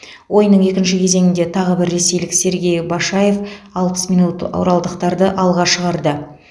ойынның екінші кезеңінде тағы бір ресейлік сергей башаев алпыс минут оралдықтарды алға шығарды